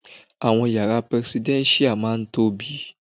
Àwọn yàrá prẹsidẹ́nṣíà má ń tobiy.